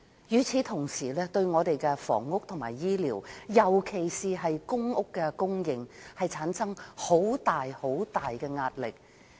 與此同時，單程證對本港的房屋及醫療，尤其公屋的供應產生極大壓力。